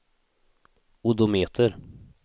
odometer